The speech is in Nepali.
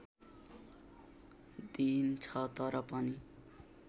दिइन्छ तर पनि